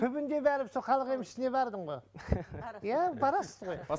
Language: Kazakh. түбінде бәрібір сол халық емшісіне бардың ғой иә барасыз ғой